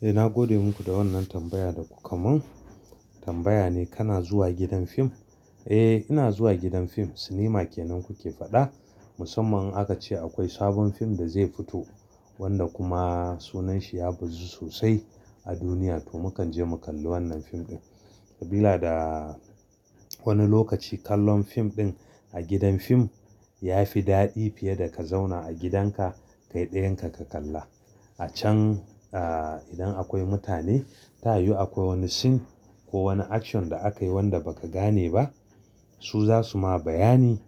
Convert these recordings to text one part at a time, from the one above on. Eh na gode muku da wannan tambaya da kuka mun. Tambaya ne kana zuwa gidan fim. Eh ina zuwa gidan fim, sinima kenan kuke faɗa. Musamman in aka ce akwai sabon fim da zai fito wanda kuma sunanshi ya buzu sosai a duniya to mu kan je mu kalli wannan fim ɗin. Sabila da wani lokaci kallon fim ɗin a gidan fim ya fi daɗi fiye da ka zauna a gidanka kai ɗayan ka, ka kalla. A can ahhh idan akwai mutane tayi yu akwai wani scene ko wani action da akayi wanda ba ka gane ba su za su ma bayani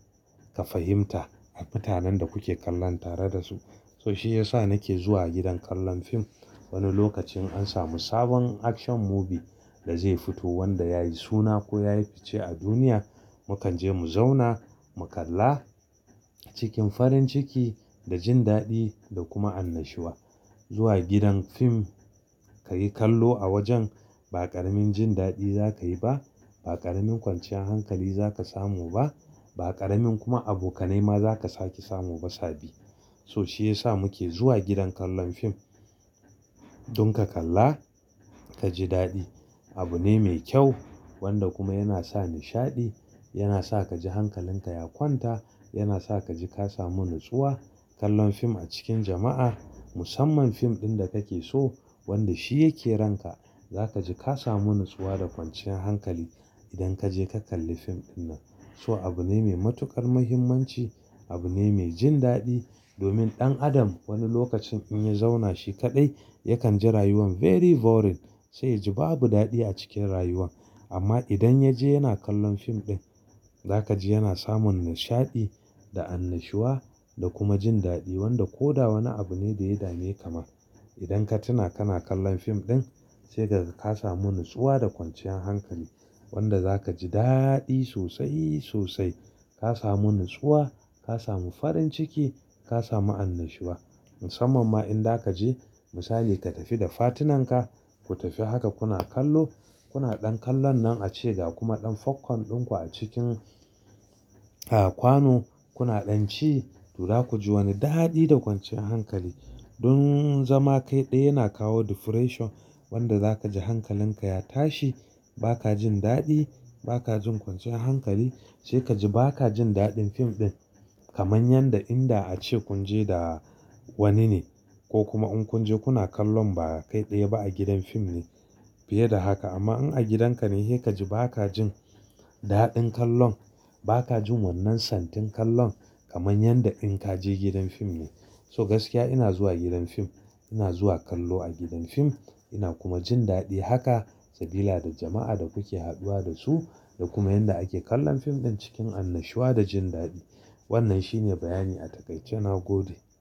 ka fahimta a mutanen da kuke kallon tare da su. To shi ya sa nake zuwa gidan kallon fim. Wani lokacin an samu sabon action movie da zai fito wanda yayi suna ko yayi fice a duniya. Mu kan je mu zauna mu kalla cikin farin ciki da jin daɗi da kuma annashuwa. Zuwa gidan fim kayi kallo a wajen ba ƙaramin jin daɗi za ka yi ba, ba ƙaramin kwanciyar hankali za ka samu ba, ba ƙaramin kuma abokanai ma za ka sake samu ba sabi. To shi ya sa muke zuwa gidan kallon fim. Dun ka kalla ka ji daɗi. Abu ne mai kyau wanda kuma yana sa nishaɗi, yana sa ka ji hankalinka ya kwanta, yana sa ka ji ka samu natsuwa. Kallon fim a cikin jama'a musamman fim ɗin da kake so wanda shi yake ranka. Za ka ji ka samu natsuwa da kwanciyar hankali idan ka je ka kalli fim dinnan. To abu ne mai matuƙar muhimmanci, abu ne mai jin daɗi. Domin ɗan adam wani lokacin in ya zauna shi kaɗai yakan ji rayuwan very boring sai ya ji babu daɗi a cikin rayuwa. Amma idan ya je yana kallon fim ɗin za ka ji yana samun nishaɗi da annashuwa da kuma jin daɗi. Wanda ko da wane abu ne da ya dame ka ma idan ka tuna kana kallon fim ɗin sai ka ga ka samu natsuwa da kwanciyar hankali. Wanda za ka ji daɗi sosai, sosai. Ka samu natsuwa, ka samu farin ciki, ka samu annashuwa. Musamman ma in da ka je misali ka tafi da partner-ka ku tafi haka kuna kallo. Kuna ɗan kallon nan a cega kuma ɗan popcorn ɗinku a cikin kwano. Kuna ɗan ci toza ku ji wani daɗi da kwanciyar hankali. Don zama kai ɗaya yana kawo depression wanda za ka ji hankalinka ya tashi. Ba ka jin daɗi, ba ka jin kwanciyar hankali. Sai ka ji ba ka jin daɗin fim ɗin kamar yadda in da ace kun je da wani ne. Ko kuma in kun je kuna kallon ba kai ɗaya ba a gidan fim ne fiye da haka. Amma in a gidan ka ne sai ka ji ba ka jin daɗin kallon. Ba ka jin wannan santin kallon kamar yadda in ka je gidan fim ne. To gaskiya ina zuwa gidan fim. Ina zuwa kallo a gidan fim. Ina kuma jin daɗi haka. Sabila da jama'a da kuke haɗuwa da su da kuma yanda ake kallon fim ɗin cikin annashuwa da jin daɗi. Wannan shine bayani a takaice. Na gode.